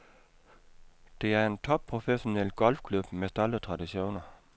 Det er en topprofessionel golfklub med stolte traditioner.